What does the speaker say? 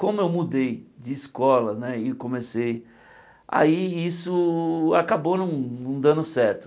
Como eu mudei de escola né e comecei, aí isso acabou não não dando certo.